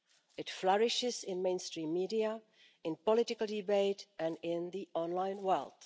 It flourishes in mainstream media, in political debate and in the online world.